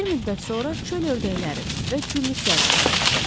Bir müddət sonra çöl ördəkləri və güllütlərlə qayıtdı.